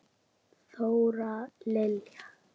Þóra Lilja.